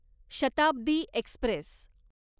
Shatabdi Express